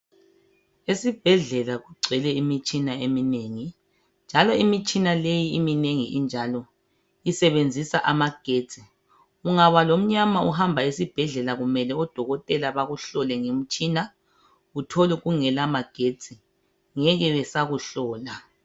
Esibhedlela kugcwele imitshina eminengi, njalo imitshina leyi iminengi I injalo isebenzisa amagetsi. Ungaba lomnyama uhamba esibhedlela kumele odokotela bakuhlole ngemtshina uthole kungela magetshi ngeke besakuhlola.